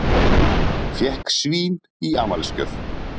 Fékk svín í afmælisgjöf